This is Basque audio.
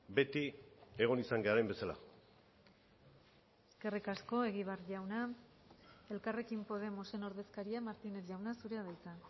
beti egon izan garen bezala eskerrik asko egibar jauna elkarrekin podemosen ordezkaria martínez jauna zurea da hitza